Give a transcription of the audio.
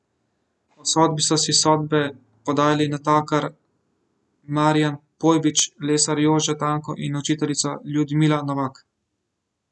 O sodbi so si sodbe podajali natakar Marijan Pojbič, lesar Jože Tanko in učiteljica Ljudmila Novak.